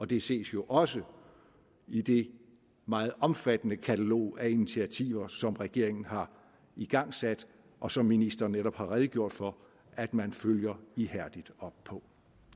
det ses jo også i det meget omfattende katalog af initiativer som regeringen har igangsat og som ministeren netop har redegjort for at man følger ihærdigt op på